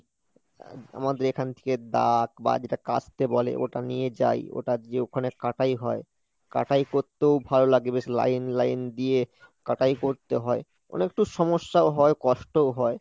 আমাদের এখান থেকে দা বা যেটা কাস্তে বলে ওটা নিয়ে যাই ওটা যেয়ে ওখানে কাটাই হয়, কাটাই পরতেও ভালো লাগে বেশ line line দিয়ে কাটাই করতে হয় অনেকটা সমস্যাও হয় কষ্টও হয়।